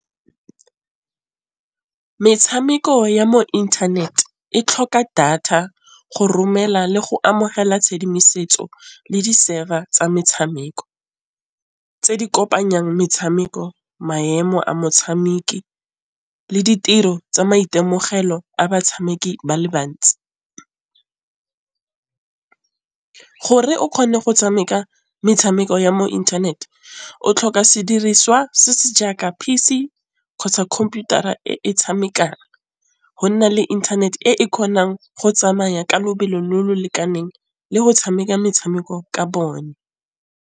Metšhameko ya mo inthanete e tlhoka data go romela le go amogela tšhedimosetso le di server tsa metšhameko tse di kopanyang metshameko maemo a motshameki le ditiro tsa maitemogelo a batšhameki ba le bantsi. Gore o kgone go tšhameka metšhameko ya mo inthaneteng o tlhoka sediriswa se se jaaka P_C kgotsa computer-a e tšhamekang go nna le internet e e kgonang go tsamaya ka lebelo le le lekaneng le go tšhameka metšhameko ka bone.